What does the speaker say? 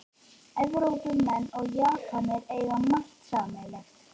Evrópumenn og Japanir eiga margt sameiginlegt